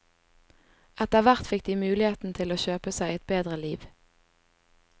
Etterhvert fikk de muligheten til å kjøpe seg et bedre liv.